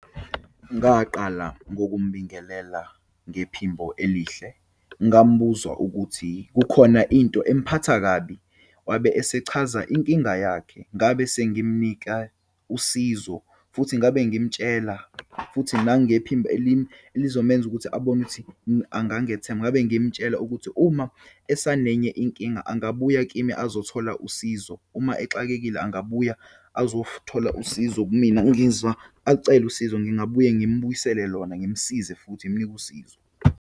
Ngaqala ngokumbingelela ngephimbo elihle, ngimbuza ukuthi kukhona into emphethe kabi. Wabe esechaza inkinga yakhe. Ngabe sengimnika usizo futhi ngabe ngimtshela, futhi nangephimbo elizomenza ukuthi abone ukuthi angangethemba. Ngabe ngimtshela ukuthi uma asanenye inkinga angabuya kimi azothola usizo, uma exakile angabuye azothola usizo kumina, ngizwa acele usizo, ngingabuye ngimbuyisele lona, ngimsize futhi ngimnike usizo.